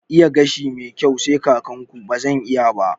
Iya gashi mai kyau ai sai kakan ku, bazan iya ba